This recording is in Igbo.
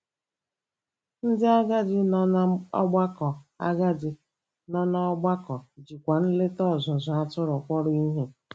Ndị agadi nọ n'ọgbakọ agadi nọ n'ọgbakọ jikwa nleta ọzụzụ atụrụ kpọrọ ihe.